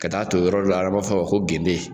Ka taa ton yɔrɔ dɔ la fɔ a ma ko gende.